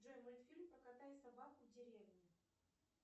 джой мультфильм про кота и собаку в деревне